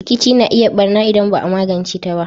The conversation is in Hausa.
Rkici na iya yin barna idan ba a magance ta ba.